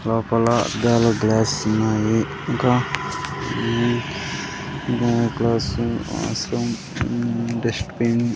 లోపల అద్దాలు గ్లాస్ ఉన్నాయి ఇంకా ఉమ్మ్ గ్లాస్ డస్ట్బిన్ .